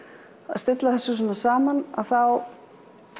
að stilla þessu svona saman þá